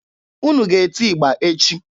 Unu ga-eti ịgba echi!